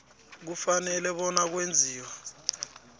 kufanele bona kwenziwe